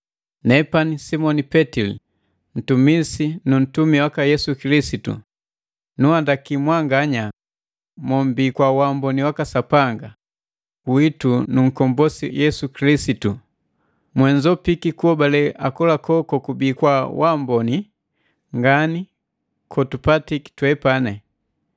Nepani Simoni Petili, mtumisi nu ntumi waka Yesu Kilisitu, nunhandaki mwanganya mombii, kwa waamboni waka Sapanga witu nu nkombosi Yesu Kilisitu, mwe nzopiki kuhobale akolako kokubii kwa kwaamboni ngani kotupatiki twepani.